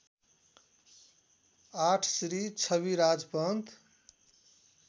८ Shri Chhabiraj Pant